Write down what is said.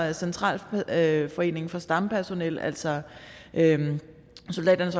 at centralforeningen for stampersonel altså soldaternes